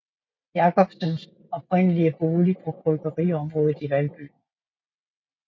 Jacobsens oprindelige bolig på bryggeriområdet i Valby